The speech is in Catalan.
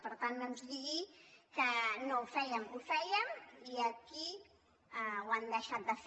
per tant no ens digui que no fèiem ho fèiem i aquí ho han deixat de fer